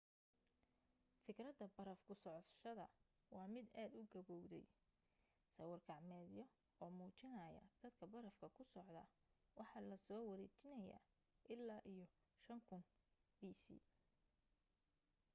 fikradda baraf kusocoshada waa mid aad u gabowday sawir gacmeedyo oo muujinaya dadka barafka ku socda waxaa lasoo wariniyaa illaa iyo 5000 bc